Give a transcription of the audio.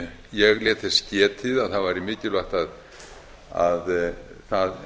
ég lét þess getið að það árs mikilvægt að það